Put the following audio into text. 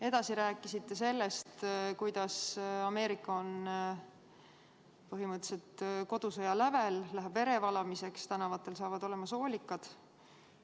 " Edasi rääkisite sellest, kuidas Ameerika on põhimõtteliselt kodusõja lävel, läheb verevalamiseks, tänavatel saavad olema soolikad.